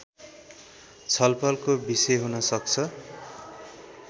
छलफलको विषय हुन सक्छ